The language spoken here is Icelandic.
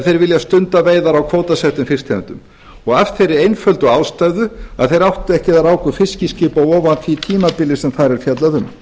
þeir vilja stunda veiðar á kvótasettum fisktegundum af þeirri einföldu ástæðu að þeir áttu ekki eða ráku fiskiskip á því tímabili sem þar er fjallað um